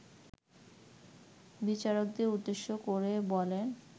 বিচারককে উদ্দেশ্য করে বলেন